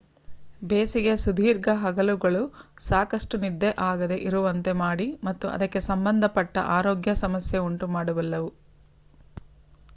ಬೇಸಿಗೆಯ ಸುದೀರ್ಘ ಹಗಲುಗಳು ಸಾಕಷ್ಟು ನಿದ್ದೆ ಆಗದೆ ಇರುವಂತೆ ಮಾಡಿ ಮತ್ತು ಅದಕ್ಕೆ ಸಂಬಂಧ ಪಟ್ಟ ಆರೋಗ್ಯ ಸಮಸ್ಯೆ ಉಂಟು ಮಾಡಬಲ್ಲವು